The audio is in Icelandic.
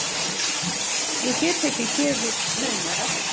Ég get ekki gefið naumara.